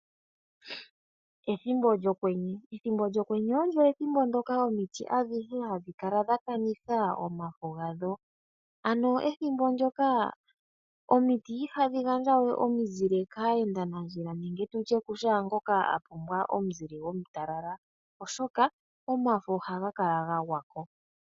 Ethimbo lyokwenye Ethimbo lyokwenye olyo ethimbo ndyoka omiti adhihe hadhi kala dha kanitha omafo gadho. Ano ethimbo ndyoka omiti ihadhi gandja we omizile kaayendanandjila nenge tu tye ku shoongoka a pumbwa omuzile omutalala, oshoka omafo ohaga kala ga gwa ko.